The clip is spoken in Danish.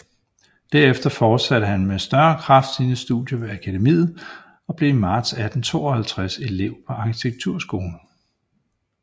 Derefter fortsatte han med større kraft sine studier ved Akademiet og blev i marts 1852 elev på arkitekturskolen